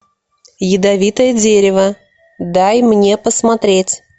ядовитое дерево дай мне посмотреть